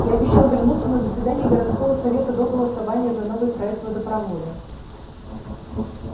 я обещал вернуться на заседание городского совета до голосования за новый проект водопровода